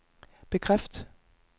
bekræft